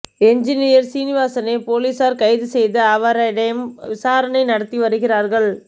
engineer சீனிவாசனை போலீசார் கைது செய்து அவரைடம் விசாரணை நடத்தி வருகிறார்கள்